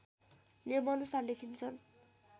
नियमअनुसार लेखिन्छन्